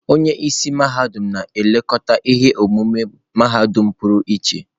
Onye isi mahadum na-elekọta ihe omume mahadum pụrụ iche.